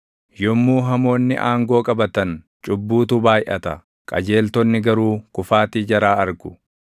Yommuu hamoonni aangoo qabatan, cubbuutu baayʼata; qajeeltonni garuu kufaatii jaraa argu.